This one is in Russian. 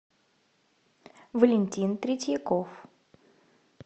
валентин третьяков